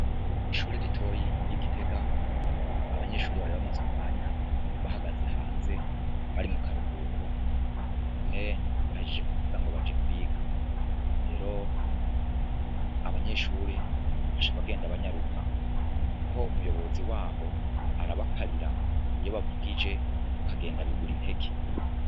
Ishure ritoyi ry'igitega, abanyeshure bari bamaze umwanya bahagaze hanze bari mukaruhuko none bahejeje kuvuga ngo baje kwiga, rero abanyeshure baca bagenda banyaruka kuko umuyobzi waho arabakarira iyo bavugije bakagenda bigura intege.